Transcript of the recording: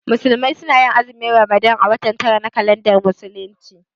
Musulmai su na azumin Ramadan a watan tara na kalandar musulunci